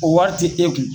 O wari ti e kun